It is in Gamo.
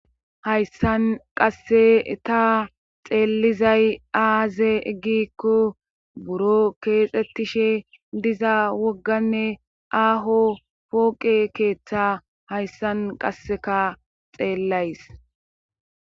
hayssan qasse ta xeelizay aaze gikko buro keexxettishe diza wogganne aaho pooqe keeththa hayssan qasseka xeellays